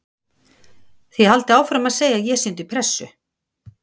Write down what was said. Þið haldið áfram að segja að ég sé undir pressu.